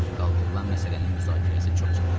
Qaldırılan məsələnin müzakirəsi çox çəkdi.